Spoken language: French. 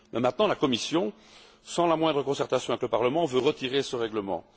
Maintenant, c'est la Commission, sans la moindre concertation avec le Parlement, qui veut retirer ce règlement.